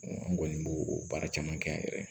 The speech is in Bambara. an kɔni b'o o baara caman kɛ an yɛrɛ ye